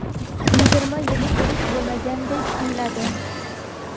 yigirma yillik urush bo‘lmagandek tuyiladi.